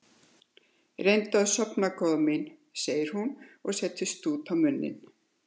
Reyndu að sofna góða mín, segir hún og setur stút á munninn.